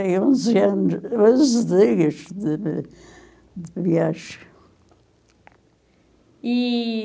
Tem onze anos, onze dias de vi de viagem. E...